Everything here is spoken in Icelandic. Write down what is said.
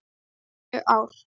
Níu ár.